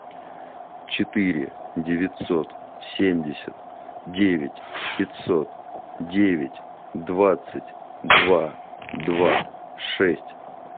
четыре девятьсот семьдесят девять пятьсот девять двадцать два два шесть